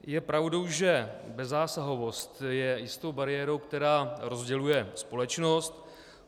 Je pravdou, že bezzásahovost je jistou bariérou, která rozděluje společnost.